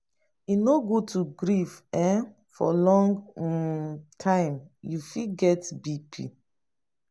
e no good to grief um for long um time you fit get bp.